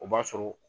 O b'a sɔrɔ